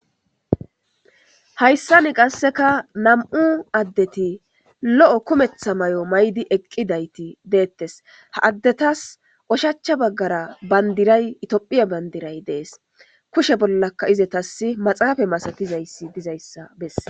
Haysan qaseka nam'u asati lo'o kumetha mayo mayidi eqidayti detes eta oshicha bagara bandiray tophiya bandirayi des kushe bollaka izetas maxafe masatizaysa beses